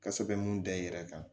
Ka sɛbɛn mun da i yɛrɛ kan